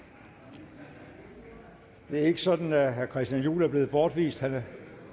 igen et det er ikke sådan at herre christian juhl er blevet bortvist han er